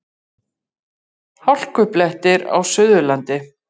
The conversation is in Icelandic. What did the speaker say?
Hálkublettir á Suðurlandi